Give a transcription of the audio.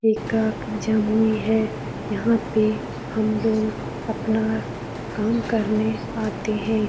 एकक जमुई है यहाँ पे हमलोग अपना काम करने आते है।